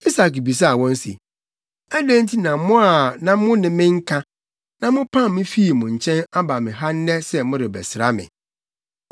Isak bisaa wɔn se, “Adɛn nti na mo a na mo ne me nka, na mopam me fii mo nkyɛn aba me ha nnɛ sɛ morebɛsra me?”